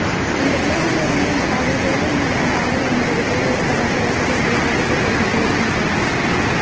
இந்த க்ளுவில் இருந்து இந்த பாடல் ஜெயிலில் நடக்கும் பாடல் என்பது போல் இருப்பதாக ரசிகர்கள் கருத்து தெரிவித்து வருகின்றனர்